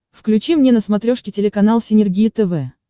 включи мне на смотрешке телеканал синергия тв